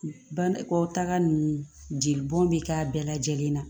Bankɔ taga ninnu jeli bɔn bɛ k'a bɛɛ lajɛlen na